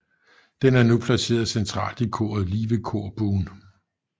Den er nu placeret centralt i koret lige ved korbuen